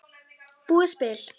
Búið spil.